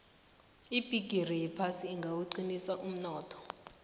ibhigiri yephasi ingawuqinisa umnotho